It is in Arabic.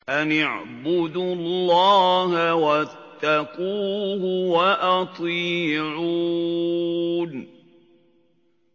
أَنِ اعْبُدُوا اللَّهَ وَاتَّقُوهُ وَأَطِيعُونِ